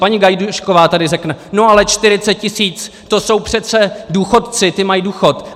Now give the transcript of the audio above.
Paní Gajdůšková tady řekne: "No, ale 40 tisíc, to jsou přece důchodci, ti maj důchod."